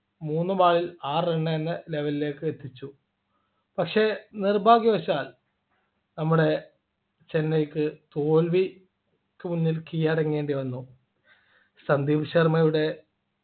മൂന്ന് ball ൽ ആറ് run എന്ന level ലേക്ക് എത്തിച്ചു പക്ഷേ നിർഭാഗ്യവശാൽ നമ്മുടെ ചെന്നൈക്ക് തോൽവിക്ക് മുമ്പിൽ കീഴടങ്ങേണ്ടി വന്നു സന്ദീപ് ശർമയുടെ